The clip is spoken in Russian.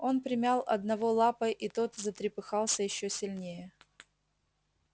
он примял одного лапой и тот затрепыхался ещё сильнее